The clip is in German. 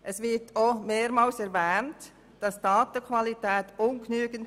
Auch wird mehrmals erwähnt, die Datenqualität sei ungenügend.